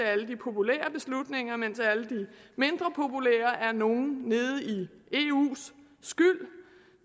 alle de populære beslutninger mens alle de mindre populære er nogle nede i eus skyld